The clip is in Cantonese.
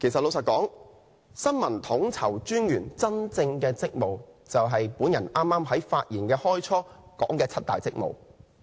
老實說，新聞統籌專員的真正職務就是我在發言之初說的七大職務。